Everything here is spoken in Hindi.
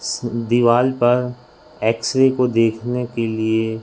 दीवाल पर एक्स रे को देखने के लिए--